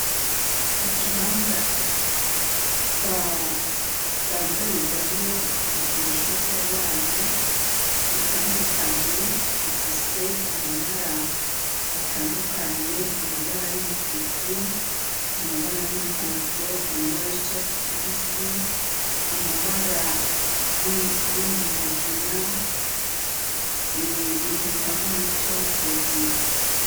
Ikibanza badandarizamwo ibikinisho vy'abana bitandukanye bifise amabara atandukanye amabara y'umutuku amabara y'umuhondo amabara y'icatsi kibisi amabara yinginagina ibintu bitanga umuco hejuru.